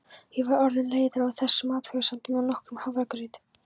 Ég var orðin leiðari á þessum athugasemdum en nokkrum hafragraut.